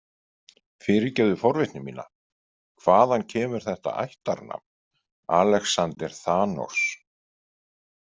Fyrirgefðu forvitni mína, hvaðan kemur þetta ættarnafn, Alexander Thanos?